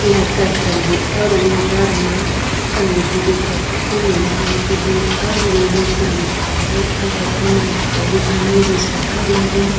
लड़का खड़े हे और अंदर मा कंघी दिखत थे अउ नीला रंग के हे और इंग्लिश म लिखाय हे बगल म एक ठो अउ दुकान हे जे शटर लगे हे।